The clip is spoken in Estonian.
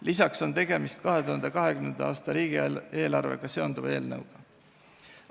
Pealegi on tegemist 2020. aasta riigieelarvega seonduva eelnõuga.